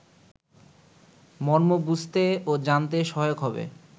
মর্ম বুঝতে ও জানতে সহায়ক হবে